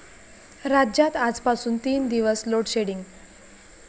राज्यात आजपासून तीन दिवस लोडशेडिंग